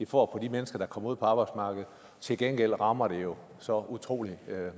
for de mennesker der kommer ud på arbejdsmarkedet til gengæld rammer det jo så utrolig